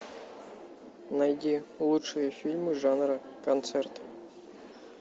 найди лучшие фильмы жанра концерт